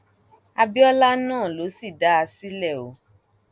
àbíọlá náà ló sì dá a sílẹ o